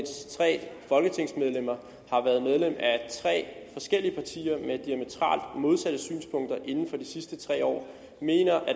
tre folketingsmedlemmer har været medlem af tre forskellige partier med diametralt modsatte synspunkter inden for de sidste tre år mener at